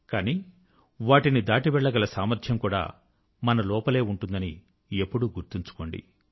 కానీ వాటిని దాటి వెళ్ళగల సామర్ధ్యం కూడా మన లోపలే ఉంటుందని ఎప్పుడూ గుర్తుంచుకోండి